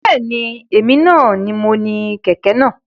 Bẹ́ẹ̀ni, èmi ni mo ni kẹ̀kẹ́ náà